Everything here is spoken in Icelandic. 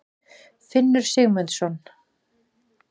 Finnur Sigmundsson.